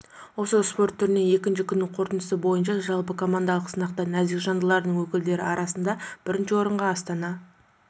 осы спорт түрінен екінші күннің қорытындысы бойынша жалпыкомандалық сынақта нәзік жандылардың өкілдері арасында бірінші орынға астана